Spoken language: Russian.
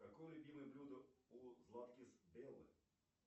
какое любимое блюдо у златкис беллы